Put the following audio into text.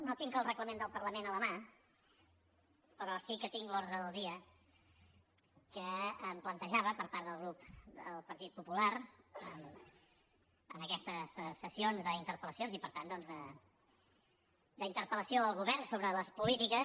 no tinc el reglament del parlament a la mà però sí que tinc l’ordre del dia que em plantejava per part del grup del partit popular en aquestes sessions d’interpel·lacions i per tant doncs d’interpelgovern sobre les polítiques